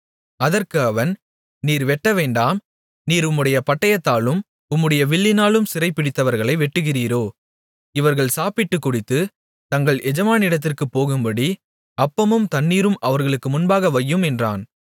அதற்கு அவன் நீர் வெட்டவேண்டாம் நீர் உம்முடைய பட்டயத்தாலும் உம்முடைய வில்லினாலும் சிறைபிடித்தவர்களை வெட்டுகிறீரோ இவர்கள் சாப்பிட்டுக் குடித்து தங்கள் எஜமானிடத்திற்குப் போகும்படி அப்பமும் தண்ணீரும் அவர்களுக்கு முன்பாக வையும் என்றான்